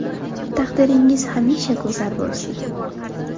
Taqdiringiz hamisha go‘zal bo‘lsin!